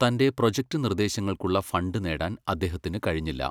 തന്റെ പ്രോജക്ട് നിർദ്ദേശങ്ങൾക്കുള്ള ഫണ്ട് നേടാൻ അദ്ദേഹത്തിന് കഴിഞ്ഞില്ല.